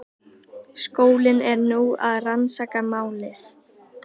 Skólinn er nú að rannsaka málið